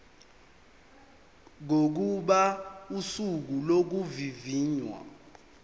kokuba usuku lokuvivinywa